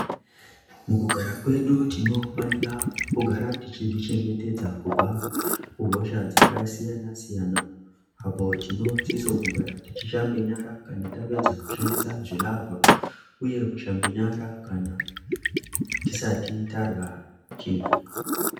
Mukugara mwedu tinofanira kugara tichizvichengetedza kubva kuhosha dzakasiyana siyana apo tinosisa kugara tichishambe nyara kana tapedza kushandise zvilavha uye kushambe nyara tisati tarya chindu.